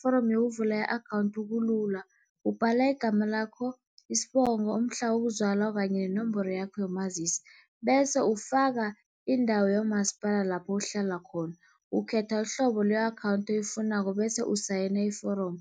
foromo yokuvula i-akhawunthu kulula, ubhala igama lakho, isibongo, umhla uzalwa kanye nenomboro yakho yomazisi. Bese ufaka indawo yomasipala lapho uhlala khona, ukhetha uhlobo le-akhawunthi oyifunako bese usayina iforomo.